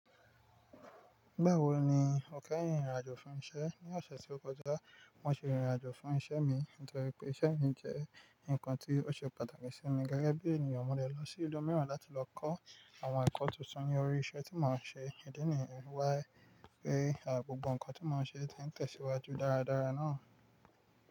Báwo ni o kẹ́rìn ìrìnàjò fún iṣẹ́? Ní ọ̀sẹ̀ tí ó kọjá, mo ṣe ìrìnàjò fún iṣẹ́ mi nítorí pé iṣẹ́ mi jẹ́ nǹkan tí ó ṣe pàtàkì sí mi. Gẹ́gẹ́ bí ènìyàn, mo de lọ sí ìlú mìíràn láti lọ kọ́ àwọn ẹ̀kọ́ tuntun ní orí iṣẹ́ tí mò ń ṣe. Ìdí nìyẹn wáyé pé àwọn gbogbo ǹkan tí mò ń ṣe ti ń tẹ̀síwájú dáradára náà.